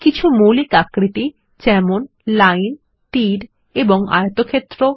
কিছু মৌলিক আকৃতি যেমন লাইন তীর এবং আয়তক্ষেত্র